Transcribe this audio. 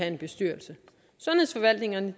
en bestyrelse sundhedsforvaltningerne